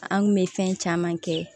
An kun bɛ fɛn caman kɛ